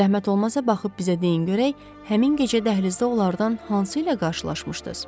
Zəhmət olmasa baxıb bizə deyin görək, həmin gecə dəhlizdə onlardan hansı ilə qarşılaşmışdınız?